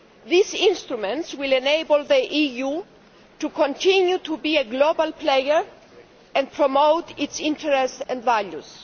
These instruments will enable the EU to continue to be a global player and promote its interests and values.